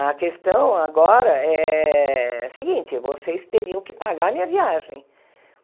A questão agora é seguinte, vocês teriam que pagar a minha viagem.